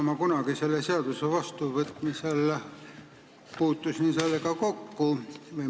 Ma kunagi selle seaduse menetlemisel puutusin sellega kokku.